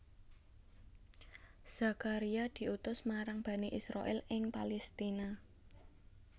Zakaria diutus marang Bani Israil ing Palestina